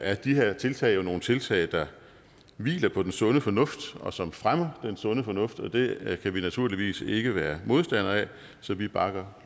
er de her tiltag jo nogle tiltag der hviler på den sunde fornuft og som fremmer den sunde fornuft og det kan vi naturligvis ikke være modstandere af så vi bakker